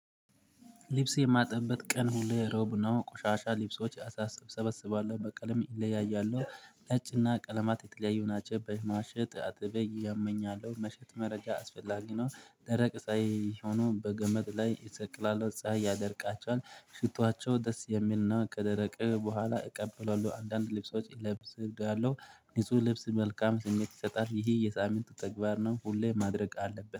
ልብስ የማጥብበት ቀን ሁሌ ሮብ ነው ቆሻሻ ሊቢሶች አሳስብ እሰበስባለሁ። በቀለም እየለያያለሁ ነጭና ቀለማት የተለያዩ ናቸው። በይ ማሸት አጥበይ ያመኛል መሸት መረጃ አስፈላጊ ነው ደረቅ ፃይ ሆኖ በገመድ ላይ እሰቅላሁ። ፀሀይ ያደርቃቸዋል ሽቷቸው ደስ የሚልና ከደረቀ በኋላ እቀበለዋለሁ አንዳንድ ልብሶች እለብስ እብያለሁ ንጹህ ልብስ መልካም ስሜት ይሰጣል። ይሄ የሳምንት ተግባር ነው። ሁሌ ማድረግ አለብን